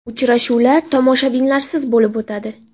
Uchrashuvlar tomoshabinlarsiz bo‘lib o‘tadi.